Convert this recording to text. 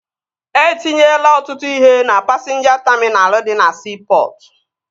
E tinyela ọtụtụ ihe na pasinja taminal dị na siipọtụ